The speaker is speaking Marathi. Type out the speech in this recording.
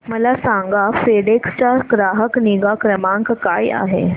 मला सांगा फेडेक्स चा ग्राहक निगा क्रमांक काय आहे